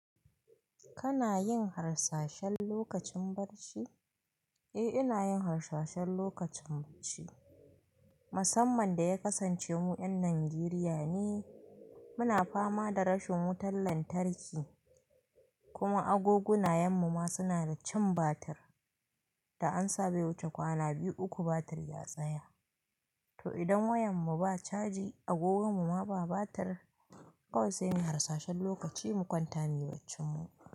Kana yin harsashen lokacin barci? Eh, ina yin harsashen lokacin barci. Musamman da ya kasance mu ƴan Najeriya ne, muna fama da rashin wutan lantarki kuma agoguna yan mu ma suna da cin batir da an sabe wuce kwana biyu uku batir ya tsaya. To idan wayan mu ba caji agogan mu ma ba batir, kawai sai muyi harsashen lokaci mu kwanta muyi baccan mu.